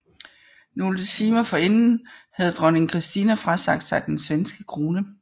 Nogle timer forinden havde dronning Kristina frasagt sig den svenske krone